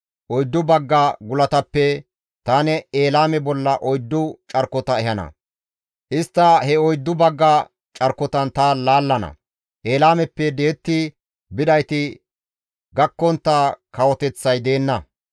Oyddu bagga gulatappe tani Elaame bolla oyddu carkota ehana; istta he oyddu bagga carkotan ta laallana; Elaameppe di7etti bidayti gakkontta kawoteththay deenna.